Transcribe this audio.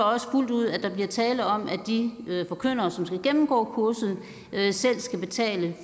også fuldt ud at der bliver tale om at de forkyndere som skal gennemgå kurset selv skal betale